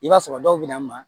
I b'a sɔrɔ dɔw bɛ na ma